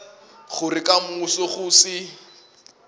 gore ka moso go se